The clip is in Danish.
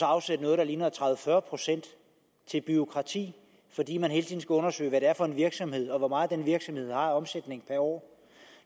at afsætte noget der ligner tredive til fyrre procent til bureaukrati fordi man hele tiden skal undersøge hvad det er for en virksomhed og hvor meget den virksomhed har af omsætning per år